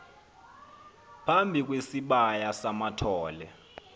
phambi kwesibaya samathole